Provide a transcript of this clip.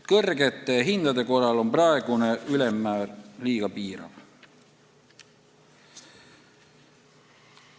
Kõrgete hindade korral on praegune ülemmäär liiga piirav.